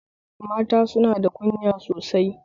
Mata suna da kunya sosai